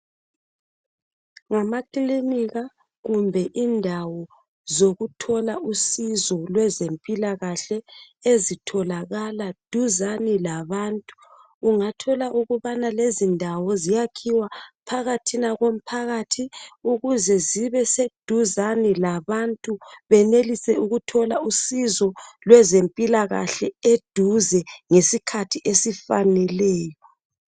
Ngamakilinika kumbe indawo zokuthola usizo lwezempilakahle ezitholakala duzane labantu. Ungathola ukubana lezindawo ziyakhiwa phakathi komphakathi ukuze zibe seduzane labantu benelise ukuthola usizo lwezempilakahle eduze ngesikhathi esifaneleyo.